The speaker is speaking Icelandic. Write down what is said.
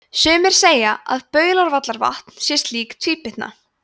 sumir segja að baulárvallavatn sé slík tvíbytna